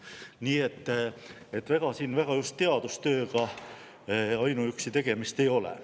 Nii et ega siin ainuüksi teadustööga väga just tegemist ei ole.